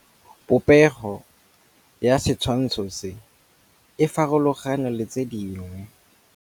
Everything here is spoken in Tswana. Popêgo ya setshwantshô se, e farologane le tse dingwe.